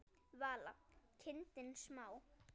Vala: kindin smá.